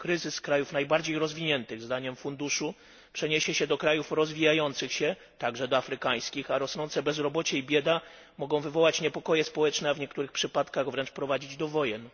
Kryzys krajów najbardziej rozwiniętych zdaniem funduszu przeniesie się do krajów rozwijających się, także do afrykańskich, a rosnące bezrobocie i bieda mogą wywołać niepokoje społeczne, a w niektórych przypadkach wręcz prowadzić do wojen.